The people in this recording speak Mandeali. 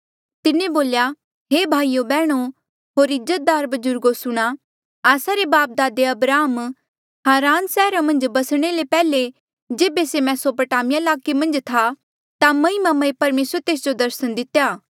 तिन्हें बोल्या हे भाइयो बैहणो होर इज्जतदार बजुर्गो सुणां आस्सा रा बापदादे अब्राहम हारान सैहरा मन्झ बसणे ले पैहले जेबे से मेसोपोटामिया ईलाके मन्झ था ता महिमामय परमेसरे तेस जो दर्सन दितेया